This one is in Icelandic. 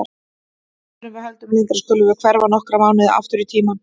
Áður en við höldum lengra skulum við hverfa nokkra mánuði aftur í tímann.